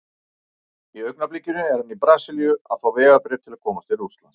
Í augnablikinu er hann í Brasilíu að fá vegabréf til að komast til Rússlands.